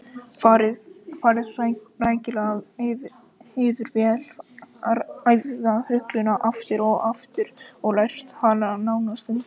Farið rækilega yfir vel æfða rulluna aftur og aftur og lært hana nánast utanbókar.